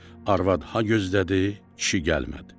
Arvad ha gözlədi, kişi gəlmədi.